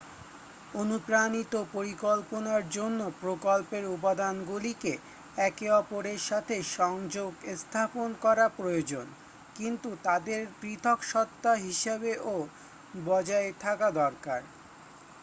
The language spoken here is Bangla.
অনুপ্রাণিত পরিকল্পনার জন্য প্রকল্পের উপাদানগুলিকে একে অপরের সাথে সংযোগ স্থাপন করা প্রয়োজন কিন্তু তাদের পৃথক সত্ত্বা হিসাবেও বজায় থাকা দরকার